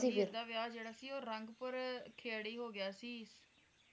ਹੀਰ ਦਾ ਵਿਆਹ ਜਿਹੜਾ ਸੀ ਉਹ ਰੰਗਪੁਰ ਖੇਡੀ ਹੋਗਿਆ ਸੀ